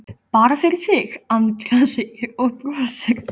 Bara fyrir þig, Andrea, segir hann og brosir.